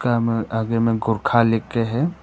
आगे में गोरखा लिख के है।